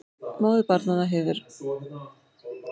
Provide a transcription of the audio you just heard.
MÓÐIR BARNANNA MINNA HEFUR